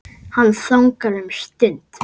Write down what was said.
Hann þagnar um stund.